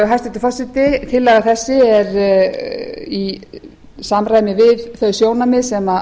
hæstvirtur forseti tillaga þessi er í samræmi við þau sjónarmið sem